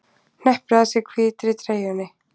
Hneppir að sér hvítri treyjunni.